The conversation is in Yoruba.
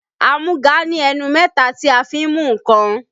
Amúga ní ẹnu mẹ́ta tí a fi n mú nǹkan